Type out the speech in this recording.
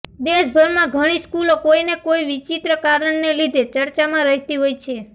દેશભરમાં ઘણી સ્કૂલો કોઈ ને કોઈ વિચિત્ર કારણને લીધે ચર્ચામાં રહેતી હોય છે